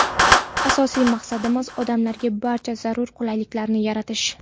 Asosiy maqsadimiz – odamlarga barcha zarur qulayliklarni yaratish.